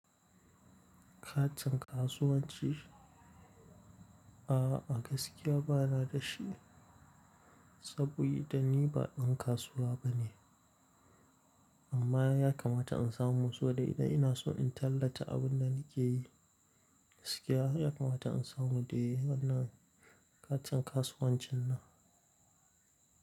Katin kasuwanci? A'a gaskiya bana da shi sabida ni ba ɗan kasuwa bane. Amma ya kamata in samu sabida idan ina son in tallata abun da nake yi. Gaskiya ya kamata in samu dai wannan katin kasuwancin nan.